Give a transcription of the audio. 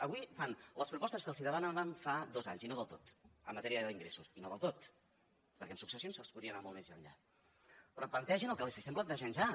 avui fan les propostes que els demanàvem fa dos anys i no del tot en matèria d’ingressos i no del tot perquè en successions es podria anar molt més enllà però plantegin el que els plantegem ja